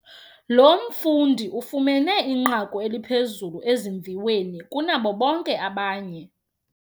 Lo mfundi ufumene inqaku eliphezulu ezimviweni kunabo bonke abanye.